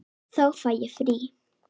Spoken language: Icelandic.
Þá fæ ég frí.